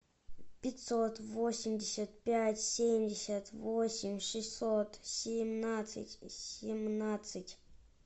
пятьсот восемьдесят пять семьдесят восемь шестьсот семнадцать семнадцать